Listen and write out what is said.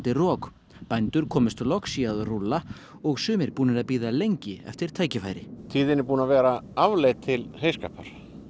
rok bændur komust loksins í að rúlla og sumir búnir að bíða lengi eftir tækifæri tíðin er búin að vera afleit til heyskapar